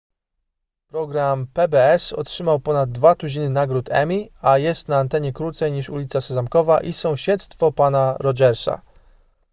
program pbs otrzymał ponad dwa tuziny nagród emmy a jest na antenie krócej niż ulica sezamkowa i sąsiedztwo pana rogersa